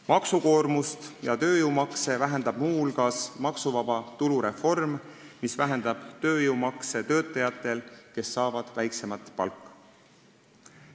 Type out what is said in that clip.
Maksukoormust ja tööjõumakse vähendab muu hulgas maksuvaba tulu reform, mis vähendab nende töötajate tööjõumakse, kes saavad väiksemat palka.